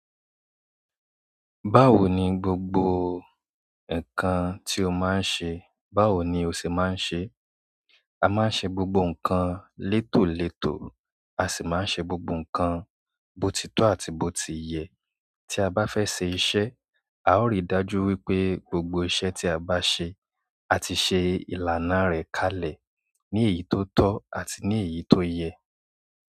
Báwo ni gbogbo nǹkan tí o máa ń ṣe? Báwo ni o ṣe máa ń ṣe? A máa ń ṣe gbogbo nǹkan létòlétò, a sì máa ń ṣe gbogbo nǹkan botitó àti botiye. Tí a bá fẹ́ ṣe iṣẹ́, a ó rí i dájú wípé gbogbo iṣẹ́ tí a bá ṣe, a ti ṣe ìlànà rẹ̀ kalẹ̀ ní èyí tó tọ́ àti ní èyí tó yẹ.